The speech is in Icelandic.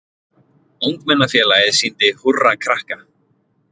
Ungmennafélagið sýndi Húrra krakka